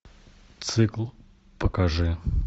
цикл покажи